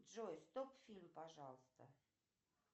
джой стоп фильм пожалуйста